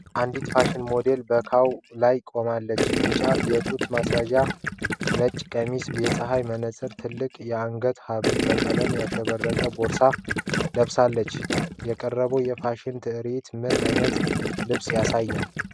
አንድ ፋሽን ሞዴል በ catwalk ላይ ቆማለች። ቢጫ የጡት ማስያዣ (bandeau top)፣ ነጭ ቀሚስ፣ የፀሐይ መነጽር፣ ትልቅ የአንገት ሐብልና በቀለማት ያሸበረቀ ቦርሳ ለብሳለች። የቀረበው የፋሽን ትርዒት ምን ዓይነት ልብስ ያሳያል?